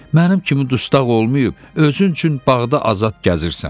Mənim kimi dustaq olmayıb özün üçün bağda azad gəzirsən.